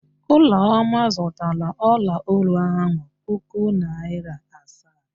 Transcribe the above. Ụlọma zụtara ọlaolu ahụ puku naịra asaa.